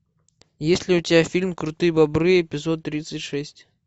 есть ли у тебя фильм крутые бобры эпизод тридцать шесть